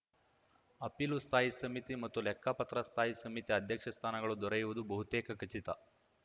ಅಪೀಲು ಸ್ಥಾಯಿ ಸಮಿತಿ ಮತ್ತು ಲೆಕ್ಕಪತ್ರ ಸ್ಥಾಯಿ ಸಮಿತಿ ಅಧ್ಯಕ್ಷ ಸ್ಥಾನಗಳು ದೊರೆಯುವುದು ಬಹುತೇಕ ಖಚಿತ